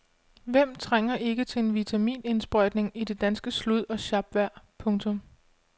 Hvem trænger ikke til en vitaminindsprøjtning i det danske slud og sjapvejr. punktum